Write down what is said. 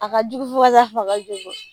A ka jugu fo ka taa fɔ a ka jugu